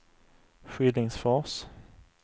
Skillingsfors